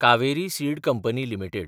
Kaveri seed company limited